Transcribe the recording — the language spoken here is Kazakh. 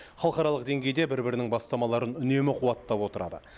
халықаралық деңгейде бір бірінің бастамаларын үнемі қуаттап отырады